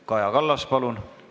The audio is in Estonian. Kaja Kallas, palun!